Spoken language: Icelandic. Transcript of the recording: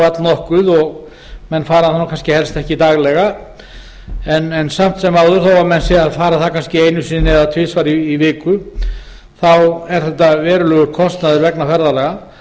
allnokkuð og menn fara það helst ekki daglega samt sem áður þó menn séu að fara það kannski einu sinni eða tvisvar í viku er þetta verulegur kostnaður vegna ferðalaga